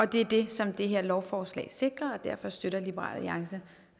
det er det som det her lovforslag sikrer og derfor støtter liberal alliance